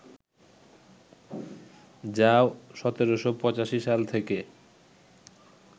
যা ১৭৮৫ সাল থেকে